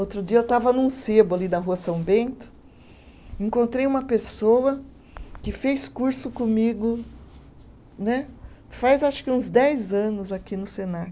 Outro dia eu estava num sebo ali da rua São Bento, encontrei uma pessoa que fez curso comigo né, faz acho que uns dez anos aqui no Senac.